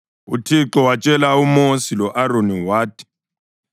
UThixo watshela uMosi lo-Aroni wathi,